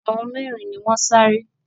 Àwọn mẹ́rin ni wọ́n sáré